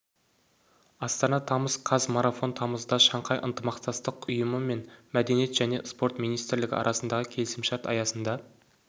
астана тамыз қаз марафон тамызда шанхай ынтымақтастық ұйымы мен мәдениет және спорт министрлігі арасындағы келісімшарт аясында